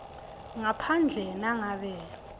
ngaphandle nangabe